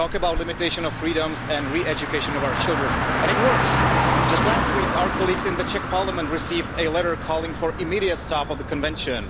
Talk about a limitation of freedoms and re education of our children and it works. Just last week, our colleagues in the Czech Parliament received a letter calling for the immediate stop of the Convention.